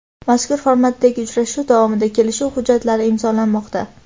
mazkur formatdagi uchrashuv davomida kelishuv hujjatlari imzolanmoqda.